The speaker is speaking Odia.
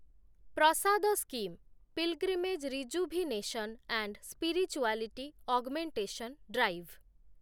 Prasad scheme ,pilgrimage rejuvenation and spirituality augmentation drive